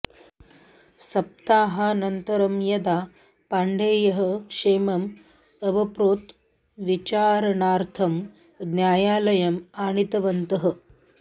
सप्ताहानन्तरं यदा पाण्डेयः क्षेमम् अवप्नोत् विचारणार्थं न्यायालयम् आनीतवन्तः